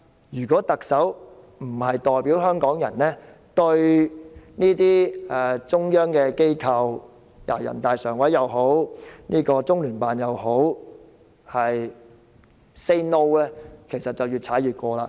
如果特首不代表香港人對這類中央機構——無論是人大常委會或中聯辦 ——say "No"， 他們便會越踩越近。